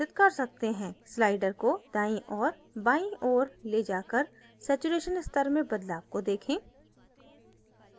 slider को दाईं और बाईं ओर ले जाकर saturation स्तर में बदलाव को देखें